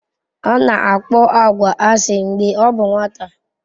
Ọ na-akpọ agwa asị mgbe ọ bụ nwata.